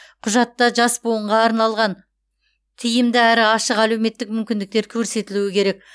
құжатта жас буынға арналған тиімді әрі ашық әлеуметтік мүмкіндіктер көрсетілуі керек